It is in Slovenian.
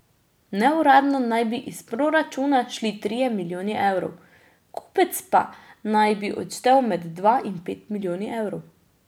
Neuradno naj bi iz proračuna šli trije milijoni evrov, kupec pa naj bi odštel med dva in pet milijoni evrov.